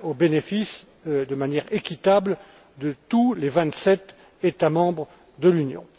profite de manière équitable à tous les vingt sept États membres de l'Union.